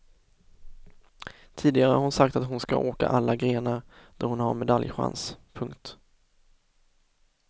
Tidigare har hon sagt att hon ska åka alla grenar där hon har medaljchans. punkt